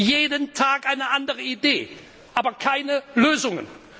Jeden Tag eine andere Idee, aber keine Lösungen.